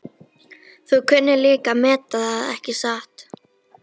Þú kunnir líka að meta það, ekki satt?